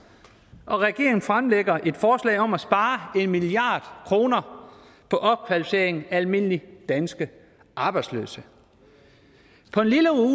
og regeringen fremsætter et forslag om at spare en milliard kroner på opkvalificering af almindelige danske arbejdsløse på en lille uge